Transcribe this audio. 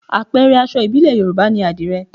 Àpẹẹrẹ aṣọ ìbílẹ̀ Yorùbá ni àdìrẹ